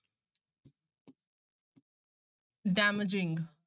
Damaging